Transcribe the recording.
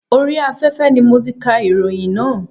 Orí afẹ́fẹ́ ni mo ti kà ìròyìn náà.